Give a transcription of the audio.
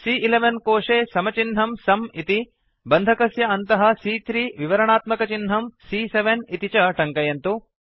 सी॰॰11 कोशे समचिह्नं सुं इति बन्धकस्य अन्तः सी॰॰3 विवरणात्मकचिह्नं सी॰॰7 इति च टङ्कयन्तु